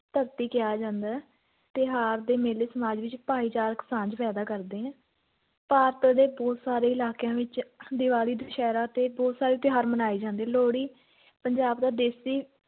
ਧਰਤੀ ਕਿਹਾ ਜਾਂਦਾ ਹੈ ਤਿਉਹਾਰ ਤੇ ਮੇਲੇ ਸਮਾਜ ਵਿੱਚ ਭਾਈਚਾਰਕ ਸਾਂਝ ਪੈਦਾ ਕਰਦੇ ਨੇ, ਭਾਰਤ ਦੇ ਬਹੁਤ ਸਾਰੇ ਇਲਾਕਿਆਂ ਵਿੱਚ ਦੀਵਾਲੀ ਦੁਸਹਿਰਾ ਅਤੇ ਬਹੁਤ ਸਾਰੇ ਤਿਉਹਾਰ ਮਨਾਏ ਜਾਂਦੇ, ਲੋਹੜੀ ਪੰਜਾਬ ਦਾ ਦੇਸ਼ੀ